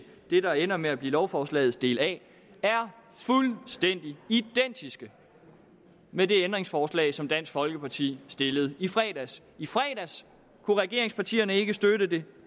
det der ender med at blive lovforslagets del a er fuldstændig identisk med det ændringsforslag som dansk folkeparti stillede i fredags i fredags kunne regeringspartierne ikke støtte det